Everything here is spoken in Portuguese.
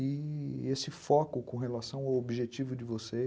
e esse foco com relação ao objetivo de vocês.